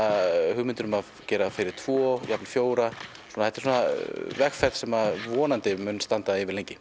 hugmyndir um að gera fyrir tvo jafnvel fjóra þetta er vegferð sem vonandi mun standa yfir lengi